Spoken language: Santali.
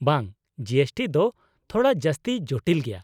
-ᱵᱟᱝ, ᱡᱤ ᱮᱥ ᱴᱤ ᱫᱚ ᱛᱷᱚᱲᱟ ᱡᱟᱹᱥᱛᱤ ᱡᱚᱴᱤᱞ ᱜᱮᱭᱟ ᱾